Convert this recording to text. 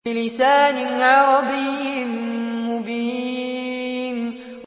بِلِسَانٍ عَرَبِيٍّ مُّبِينٍ